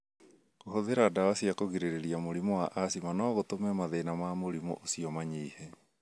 Kũhũthĩra ndawa cia kũgirĩrĩria mũrimũ asthma no gũtũme mathĩna ma mũrimũ ũcio manyihe.